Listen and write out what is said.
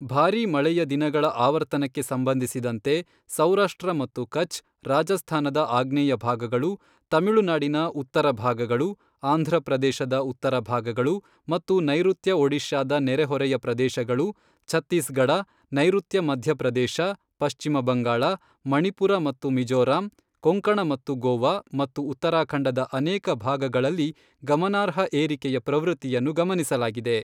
ಭಾರಿ ಮಳೆಯ ದಿನಗಳ ಆವರ್ತನಕ್ಕೆ ಸಂಬಂಧಿಸಿದಂತೆ, ಸೌರಾಷ್ಟ್ರ ಮತ್ತು ಕಛ್, ರಾಜಸ್ಥಾನದ ಆಗ್ನೇಯ ಭಾಗಗಳು, ತಮಿಳುನಾಡಿನ ಉತ್ತರ ಭಾಗಗಳು, ಆಂಧ್ರಪ್ರದೇಶದ ಉತ್ತರ ಭಾಗಗಳು ಮತ್ತು ನೈರುತ್ಯ ಒಡಿಶಾದ ನೆರೆಹೊರೆಯ ಪ್ರದೇಶಗಳು, ಛತ್ತೀಸ್ಗಢ, ನೈರುತ್ಯ ಮಧ್ಯಪ್ರದೇಶ, ಪಶ್ಚಿಮ ಬಂಗಾಳ, ಮಣಿಪುರ ಮತ್ತು ಮಿಜೋರಾಂ, ಕೊಂಕಣ ಮತ್ತು ಗೋವಾ ಮತ್ತು ಉತ್ತರಾಖಂಡದ ಅನೇಕ ಭಾಗಗಳಲ್ಲಿ ಗಮನಾರ್ಹ ಏರಿಕೆಯ ಪ್ರವೃತ್ತಿಯನ್ನು ಗಮನಿಸಲಾಗಿದೆ.